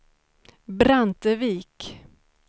Brantevik